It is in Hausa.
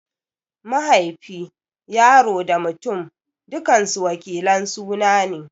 Mahaifi, Yaro da Mutum dukansu wakilin suna ne.